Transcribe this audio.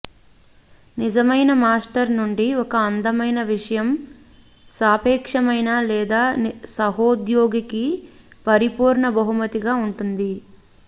నిజమైన మాస్టర్ నుండి ఒక అందమైన విషయం సాపేక్షమైన లేదా సహోద్యోగికి పరిపూర్ణ బహుమతిగా ఉంటుంది